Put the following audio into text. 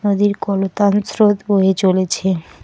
নদীর কলতান স্রোত বয়ে চলেছে।